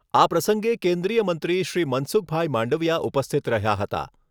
આ પ્રસંગે કેન્દ્રિય મંત્રી શ્રી મનસુખભાઈ માંડવીયા ઉપસ્થિત રહ્યા હતા.